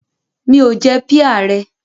Mi ò jẹ píà rẹ.